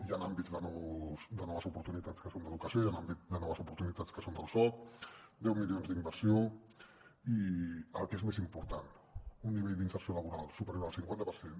hi han àmbits de noves oportunitats que són d’educació i hi han àmbits de noves oportunitats que són del soc deu milions d’inversió i el que és més important un nivell d’inserció laboral superior al cinquanta per cent